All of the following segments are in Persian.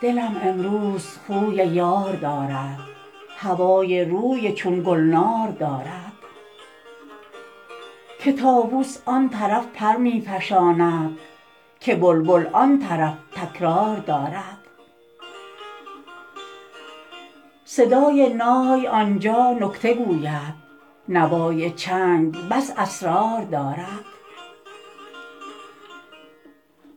دلم امروز خوی یار دارد هوای روی چون گلنار دارد که طاووس آن طرف پر می فشاند که بلبل آن طرف تکرار دارد صدای نای آن جا نکته گوید نوای چنگ بس اسرار دارد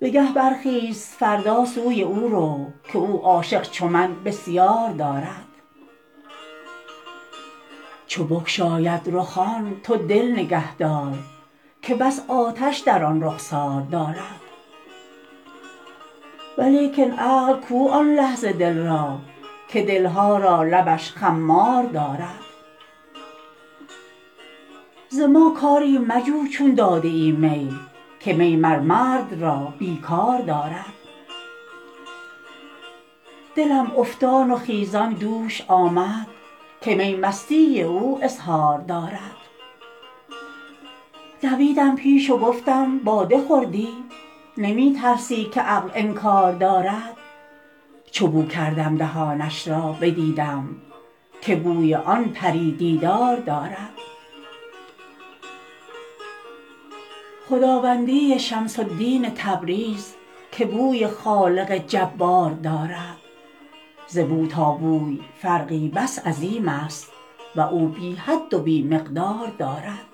بگه برخیز فردا سوی او رو که او عاشق چو من بسیار دارد چو بگشاید رخان تو دل نگهدار که بس آتش در آن رخسار دارد ولیکن عقل کو آن لحظه دل را که دل ها را لبش خمار دارد ز ما کاری مجو چون داده ای می که می مر مرد را بی کار دارد دلم افتان و خیزان دوش آمد که می مستی او اظهار دارد دویدم پیش و گفتم باده خوردی نمی ترسی که عقل انکار دارد چو بو کردم دهانش را بدیدم که بوی آن پری دیدار دارد خداوندی شمس الدین تبریز که بوی خالق جبار دارد ز بو تا بوی فرقی بس عظیمست و او بی حد و بی مقدار دارد